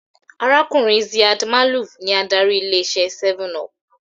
Arákùnrin Ziad Maalouf ní adarí ilé iṣé 7up